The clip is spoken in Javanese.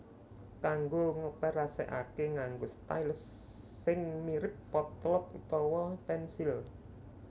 Kanggo ngoperasekake nganggo stylus sing mirip potlot utawa pensil